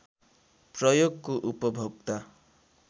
प्रयोगको उपभोक्ता